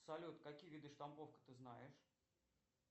салют какие виды штамповка ты знаешь